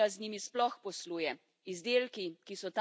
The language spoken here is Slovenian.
Kako je mogoče, da Unija z njimi sploh posluje?